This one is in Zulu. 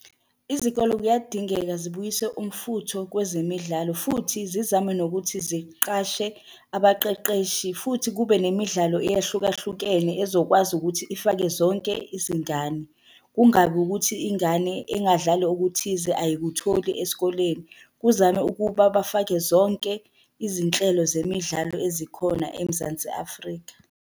Izikolo kuyadingeka zibuyise umfutho kwezemidlalo, futhi zizame nokuthi ziqashe abaqeqeshi, futhi kube nemidlalo eyahlukahlukene ezokwazi ukuthi ifake zonke izingane. Kungabi ukuthi ingane engadlali okuthize ayikutholi esikoleni. Kuzame ukuba bafake zonke izinhlelo zemidlalo ezikhona eMzansi Afrika.